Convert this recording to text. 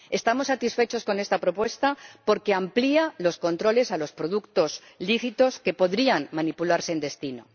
Estamos satisfechos con esta propuesta porque amplía los controles a los productos lícitos que podrían manipularse en destino